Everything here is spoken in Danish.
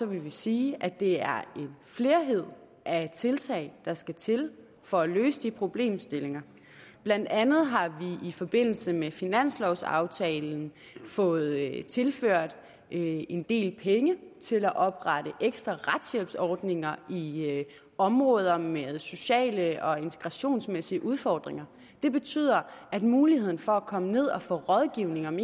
vi sige at det er en flerhed af tiltag der skal til for at løse de problemstillinger blandt andet har vi i forbindelse med finanslovaftalen fået tilført en del penge til at oprette ekstra retshjælpsordninger i områder med sociale og integrationsmæssige udfordringer det betyder at muligheden for at komme ned og få rådgivning om